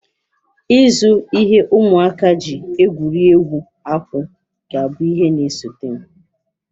Ịzụ ihe ụmụaka ji egwuri egwu akwụ ga-abụ ihe na-esote m